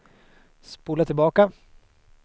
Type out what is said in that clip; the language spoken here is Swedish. spola tillbaka